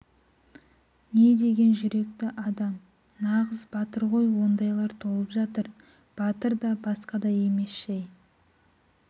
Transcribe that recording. не деген жүректі адам нағыз батыр ғой ондайлар толып жатыр батыр да басқа да емес жай